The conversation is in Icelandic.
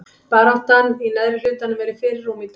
Baráttan í neðri hlutanum er í fyrirrúmi í dag.